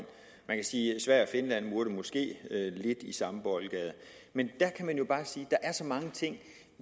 sverige og finland måske burde lidt i samme boldgade men der kan man jo bare sige at der er så mange ting